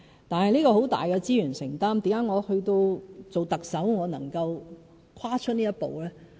但是，這很大的資源承擔，為何我當上特首後能夠跨出這一步呢？